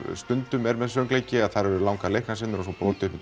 stundum er með söngleiki að þar eru langar leiknar senur og svo brotið upp